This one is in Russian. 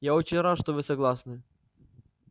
я очень рад что вы согласны